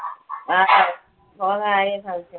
ആർക്കറിയാം. പോകുന്ന കാര്യം സംശയമാ.